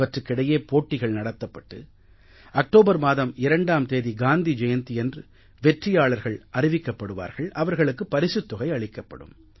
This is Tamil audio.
அவற்றுக்கிடையே போட்டிகள் நடத்தப்பட்டு அக்டோபர் மாதம் 2ஆம் தேதி காந்தி ஜெயந்தியன்று வெற்றியாளர்கள் அறிவிக்கப்படுவார்கள் அவர்களுக்கு பரிசுத் தொகை அளிக்கப்படும்